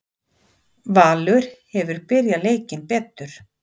Valur hefur byrjað leikinn betur